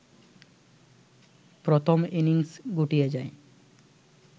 প্রথম ইনিংস গুটিয়ে যায়